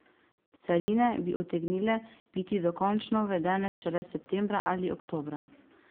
Carine bi utegnile biti dokončno uvedene šele septembra ali oktobra.